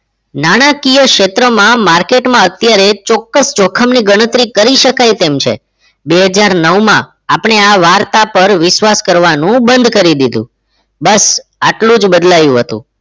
નાણાકીય ક્ષેત્રમાં market માં અત્યારે ચોક્કસ જોખમની ગણતરી કરી શકાય તેમ છે બે હજાર નવ માં આપણે આ વાર્તા પર વિશ્વાસ કરવાનું બંધ કરી દીધું બસ આટલું જ બદલાયું હતું